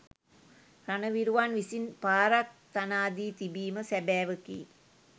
රණවිරුවන් විසින් පාරක් තනා දී තිබීම සැබෑවකි.